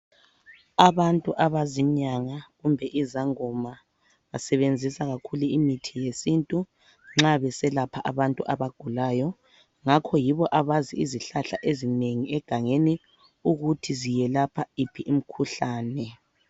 Abantu abazinyanga kumbe izangoma basebenzisa kakhulu imithi yesiNtu nxa beselapha abantu abagulayo ngakho yibo abazi izihlahla ezinengi egangeni ukuthi ziyelapha iphi imikhuhlane.